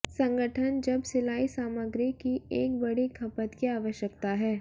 संगठन जब सिलाई सामग्री की एक बड़ी खपत की आवश्यकता है